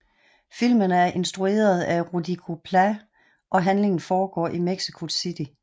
Filmen er instrueret af Rodrigo Plá og handlingen foregår i Mexico City